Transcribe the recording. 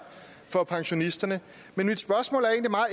for pensionisterne mit spørgsmål